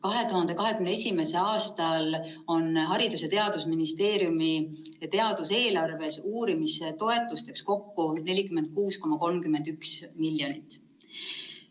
2021. aastal on Haridus‑ ja Teadusministeeriumi teaduseelarves uurimistoetusteks kokku 46,31 miljonit.